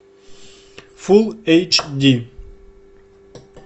фул эйч ди